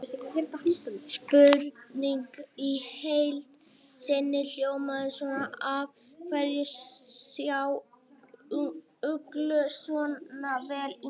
Spurningin í heild sinni hljóðaði svona: Af hverju sjá uglur sjá svona vel í myrkri?